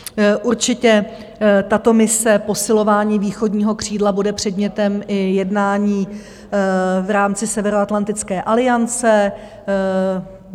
Určitě tato mise posilování východního křídla bude předmětem i jednání v rámci Severoatlantické aliance.